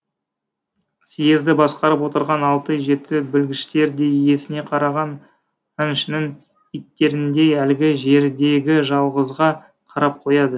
съезді басқарып отырған алты жеті білгіштер де иесіне қараған аңшының иттеріндей әлгі жердегі жалғызға қарап қояды